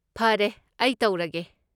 ꯐꯔꯦ, ꯑꯩ ꯇꯧꯔꯒꯦ꯫